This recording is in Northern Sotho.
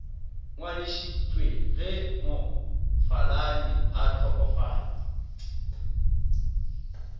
ngwadišitšwe ge mofaladi a hlokofala